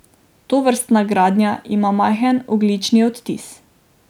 Tovrstna gradnja ima majhen ogljični odtis.